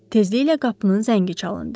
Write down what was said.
Tezliklə qapının zəngi çalındı.